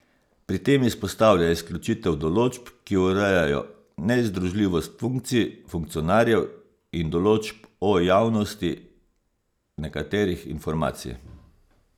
Pri tem izpostavlja izključitev določb, ki urejajo nezdružljivost funkcij funkcionarjev, in določb o javnosti nekaterih informacij.